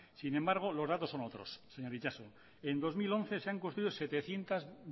sin embargo los datos son otros señor itxaso en dos mil once se han construido setecientos